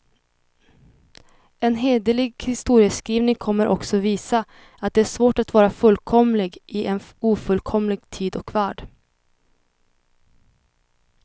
En hederlig historieskrivning kommer också visa, att det är svårt att vara fullkomlig i en ofullkomlig tid och värld.